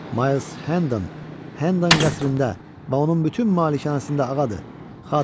Mayls Hendon Hendon qəsrində və onun bütün malikanəsində ağadır.